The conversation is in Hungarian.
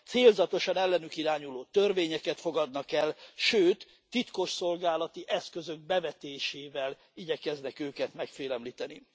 célzatosan ellenük irányuló törvényeket fogadnak el, sőt, titkosszolgálati eszközök bevetésével igyekeznek őket megfélemlíteni.